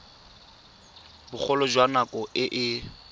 bogolo jwa nako e e